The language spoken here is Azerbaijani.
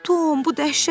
Bu dəhşətdir.